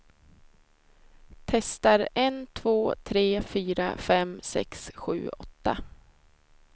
Testar en två tre fyra fem sex sju åtta.